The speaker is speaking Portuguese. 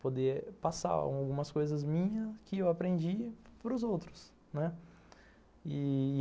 Poder passar algumas coisas minhas que eu aprendi para os outros, né?